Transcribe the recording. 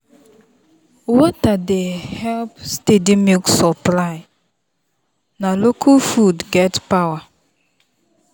water dey help steady milk supply na local food get power.